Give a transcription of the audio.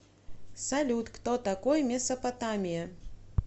салют кто такой месопотамия